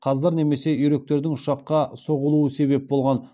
қаздар немесе үйректердің ұшаққа соғылуы себеп болған